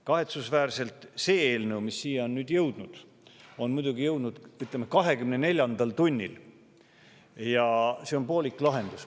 Kahetsusväärselt on see eelnõu siia jõudnud, ütleme, 24. tunnil ja see on poolik lahendus.